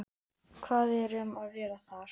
Hvað er um að vera þar?